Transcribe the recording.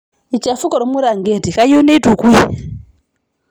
Eichafuke olmiranketi keyieu neitukui.